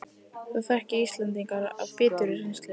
Það þekki Íslendingar af biturri reynslu